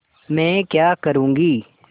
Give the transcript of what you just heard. मैं क्या करूँगी